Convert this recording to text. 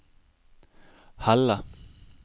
Helle